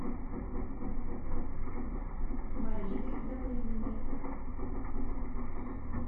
марины добрыниной